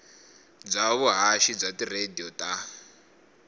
bya vuhaxi bya tiradiyo ta